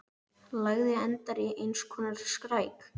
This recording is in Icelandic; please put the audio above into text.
Lagið endar í eins konar skræk.